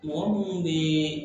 Mɔgɔ munnu be